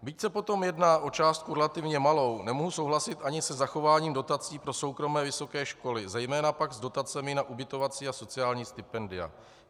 Byť se potom jedná o částku relativně malou, nemohu souhlasit ani se zachováním dotací pro soukromé vysoké školy, zejména pak s dotacemi na ubytovací a sociální stipendia.